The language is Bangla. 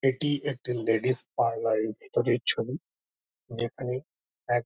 এটি একটি লেডিস পার্লার -এর ভেতরের ছবি। যেখানে এক--